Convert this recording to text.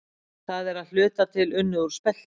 Það er að hluta til unnið úr spelti.